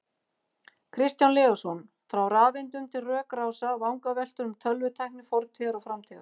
Kristján Leósson, Frá rafeindum til rökrása: Vangaveltur um tölvutækni fortíðar og framtíðar